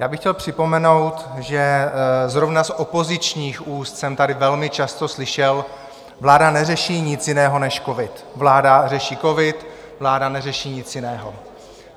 Já bych chtěl připomenout, že zrovna z opozičních úst jsem tady velmi často slyšel: Vláda neřeší nic jiného než covid, vláda řeší covid, vláda neřeší nic jiného.